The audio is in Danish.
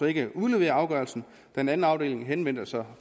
ikke udlevere afgørelsen da en anden afdeling henvendte sig